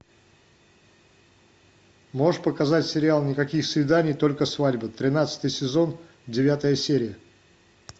можешь показать сериал никаких свиданий только свадьба тринадцатый сезон девятая серия